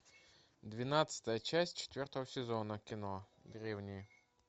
двенадцатая часть четвертого сезона кино древние